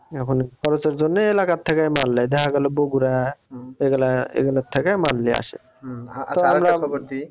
এখন খরচের জন্যে এলাকার থেকে মাল নেই দেখা গেলো বকুড়া এগুলা এগুলার থেকে মাল নিয়ে আসে